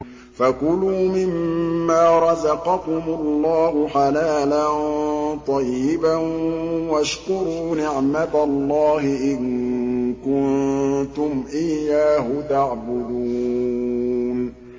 فَكُلُوا مِمَّا رَزَقَكُمُ اللَّهُ حَلَالًا طَيِّبًا وَاشْكُرُوا نِعْمَتَ اللَّهِ إِن كُنتُمْ إِيَّاهُ تَعْبُدُونَ